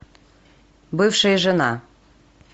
бывшая жена